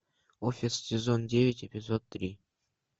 офис сезон девять эпизод три